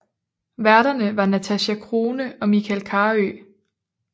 Værterne var Natasja Crone og Michael Carøe